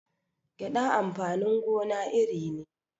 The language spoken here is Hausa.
Gyaɗa amfanin gona iri ne